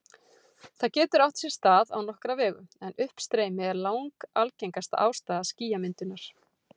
Það getur átt sér stað á nokkra vegu, en uppstreymi er langalgengasta ástæða skýjamyndunar.